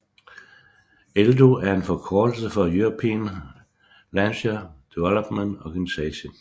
ELDO er en forkortelse for European Launcher Development Organisation